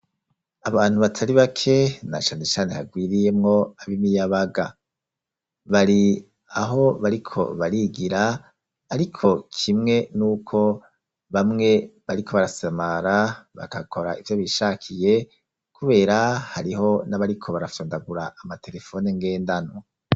Abantu batari bake na cane cane hagwiriyemwo ab'imiyabaga bari aho bariko barigira ariko kimwe n'uko bamwe bariko barasamara bakakora ivyo bishakiye kubera hariho n'abariko barafondagura amaterefone ngendanwa.